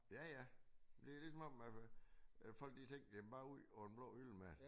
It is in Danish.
Ja ja det ligesom om at folk de slet ikke jamen bare ud over den blå hylde med det